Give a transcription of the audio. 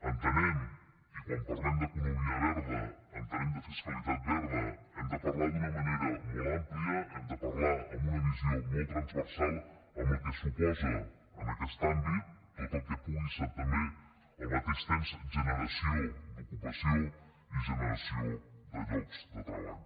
entenem quan parlem d’economia verda i de fiscalitat verda que hem de parlar d’una manera molt àmplia hem de parlar amb una visió molt transversal amb el que suposa en aquest àmbit tot el que pugui ser també al mateix temps generació d’ocupació i generació de llocs de treball